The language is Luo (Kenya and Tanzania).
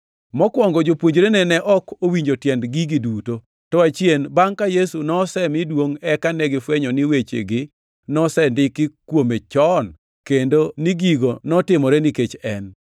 Mokwongo jopuonjrene ne ok owinjo tiend gigi duto, to achien, bangʼ ka Yesu nosemi duongʼ eka negifwenyo ni wechegi nosendiki kuome chon, kendo ni gigo notimore nikech en.